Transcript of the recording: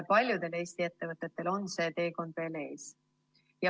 Paljudel Eesti ettevõtetel on see teekond veel ees.